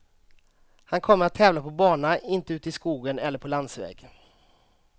Han kommer att tävla på bana, inte ute i skogen eller på landsväg.